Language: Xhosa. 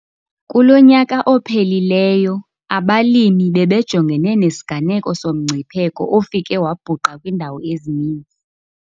Kulo nyaka ophelileyo abalimi bebejongene nesiganeko somngcipheko ofike wabhuqa kwiindawo ezininzi.